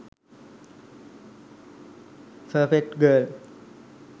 perfect girl